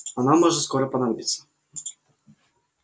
она может скоро понадобиться